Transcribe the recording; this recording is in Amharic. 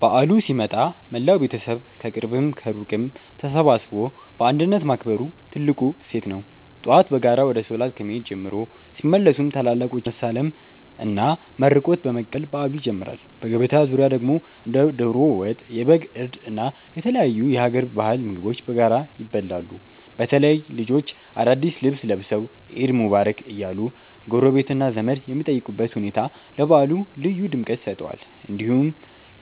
በዓሉ ሲመጣ መላው ቤተሰብ ከቅርብም ከሩቅም ተሰባስቦ በአንድነት ማክበሩ ትልቁ እሴት ነው። ጠዋት በጋራ ወደ ሶላት ከመሄድ ጀምሮ፣ ሲመለሱም ታላላቆችን በመሳለምና መርቆት በመቀበል በዓሉ ይጀምራል። በገበታ ዙሪያ ደግሞ እንደ ዶሮ ወጥ፣ የበግ እርድ እና የተለያዩ የሀገር ባህል ምግቦች በጋራ ይበላሉ። በተለይ ልጆች አዳዲስ ልብስ ለብሰው "ዒድ ሙባረክ" እያሉ ጎረቤትና ዘመድ የሚጠይቁበት ሁኔታ ለበዓሉ ልዩ ድምቀት ይሰጠዋል። እንዲህ